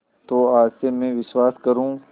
तो आज से मैं विश्वास करूँ